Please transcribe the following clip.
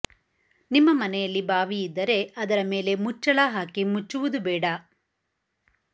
ನಿಮ್ಮ ಮನೆಯಲ್ಲಿ ಬಾವಿ ಇದ್ದರೆ ಅದರ ಮೇಲೆ ಮುಚ್ಚಳ ಹಾಕಿ ಮುಚ್ಚುವುದು ಬೇಡ